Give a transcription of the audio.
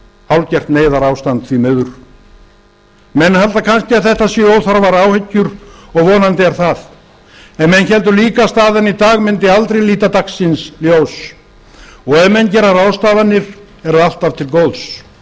hálfgert neyðarástand því miður menn halda kannski að þetta séu óþarfar áhyggjur og vonandi er það en menn héldu líka að staðan í dag mundi aldrei líta dagsins ljós og ef menn gera ráðstafanir er það alltaf til góðs